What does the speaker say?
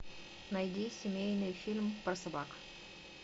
найди семейный фильм про собак